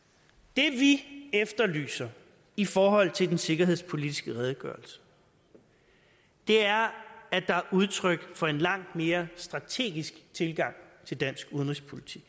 det vi efterlyser i forhold til den sikkerhedspolitiske redegørelse er at der er udtryk for en langt mere strategisk tilgang til dansk udenrigspolitik